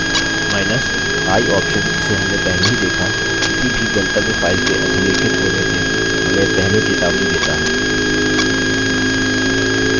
i option जिसे हमने पहले ही देखा किसी भी गंतव्य file के अधिलेखित होने से हमें पहले चेतावनी देता है